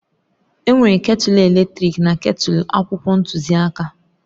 Enwere ketulu eletrik na ketulu akwụkwọ ntuziaka